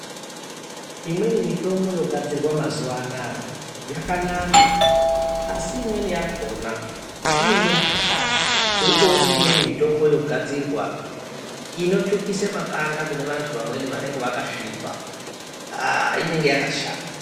Imweni mitombo yogadzirwa mazuvano yakanaka asi imweni yogadzirwa yakona inenge yakashata ngekuti tirikuona imweni mitombo yogadzirwa inotsvukisa makanda evantu vanenge vakasvipa iyi inenge yakashata.